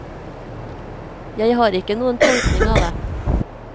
Jeg har ikke noen tolkning av det.